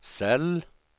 cell